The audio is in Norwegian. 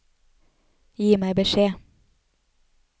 Gi meg beskjed